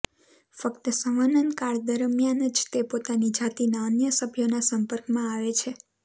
ફ્ક્ત સંવનનકાળ દરમિયાન જ તે પોતાની જાતિના અન્ય સભ્યોના સંપર્કમાં આવે છે